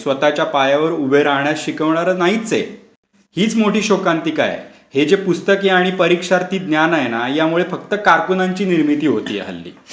स्वतःच्या पायावर उभे राहायला शिकवणारे नाही हीच मोठी शोकांतिका आहे. हे जे पुस्तकी आणि परीक्षर्थी ज्ञान आहे ना यामुळे फक्त कारकुनांची निर्मिती होतेय हल्ली.